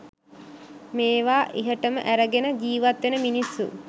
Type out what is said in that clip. මේවා ඉහටම ඇරගෙන ජීවත් වෙන මිනිස්සු